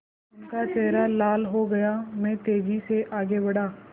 उनका चेहरा लाल हो गया मैं तेज़ी से आगे बढ़ा